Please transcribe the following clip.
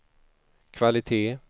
kvalitet